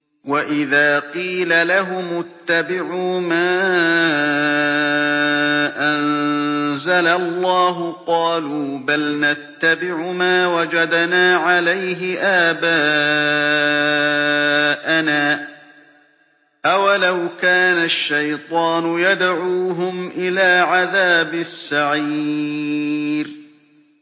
وَإِذَا قِيلَ لَهُمُ اتَّبِعُوا مَا أَنزَلَ اللَّهُ قَالُوا بَلْ نَتَّبِعُ مَا وَجَدْنَا عَلَيْهِ آبَاءَنَا ۚ أَوَلَوْ كَانَ الشَّيْطَانُ يَدْعُوهُمْ إِلَىٰ عَذَابِ السَّعِيرِ